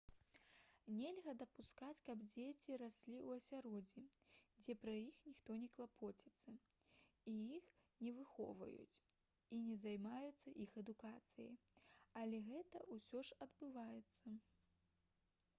нельга дапускаць каб дзеці раслі ў асяроддзі дзе пра іх ніхто не клапоціцца іх не выхоўваюць і не займаюцца іх адукацыяй але гэта ўсё ж адбываецца